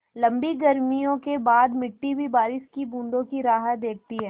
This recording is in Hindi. लम्बी गर्मियों के बाद मिट्टी भी बारिश की बूँदों की राह देखती है